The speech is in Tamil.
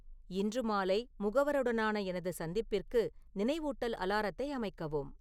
இன்று மாலை முகவருடனான எனது சந்திப்பிற்கு நினைவூட்டல் அலாரத்தை அமைக்கவும்